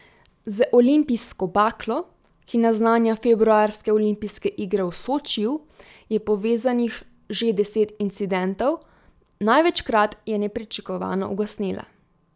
Z olimpijsko baklo, ki naznanja februarske olimpijske igre v Sočiju, je povezanih že deset incidentov, največkrat je nepričakovano ugasnila.